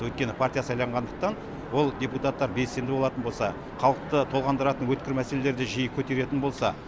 өйткені партия сайлағандықтан ол депутаттар белсенді болатын болса халықты толғандыратын өткір мәселелерді жиі көтеретін болса